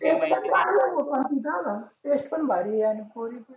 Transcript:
ते पण चांगलंच होत टेस्ट पण भारी आहे आणि पोरी पण